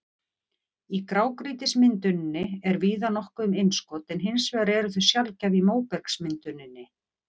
Í grágrýtismynduninni er víða nokkuð um innskot en hins vegar eru þau sjaldgæf í móbergsmynduninni.